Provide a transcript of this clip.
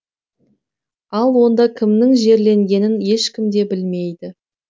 ал онда кімнің жерленгенін ешкім де білмейді